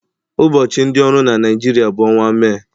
Ụbọchị ndị ọrụ na Naịjirịa bụ ọnwa Mee